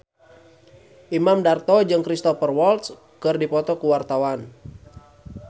Imam Darto jeung Cristhoper Waltz keur dipoto ku wartawan